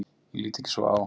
Ég lít ekki svo á.